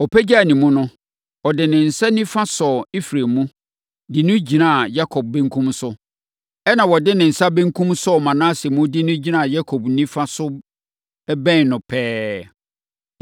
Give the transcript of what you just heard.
Ɔpagyaa ne mu no, ɔde ne nsa nifa sɔɔ Efraim mu, de no gyinaa Yakob benkum so, ɛnna ɔde ne nsa benkum sɔɔ Manase mu, de no gyinaa Yakob nifa so bɛn no pɛɛ.